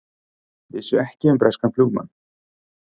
Vissu ekki um breskan flugumann